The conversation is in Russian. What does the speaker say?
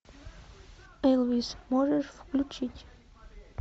элвис можешь включить